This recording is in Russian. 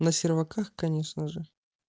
на серваках конечно же